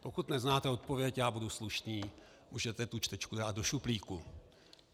Pokud neznáte odpověď, já budu slušný, můžete tu čtečku dát do šuplíku.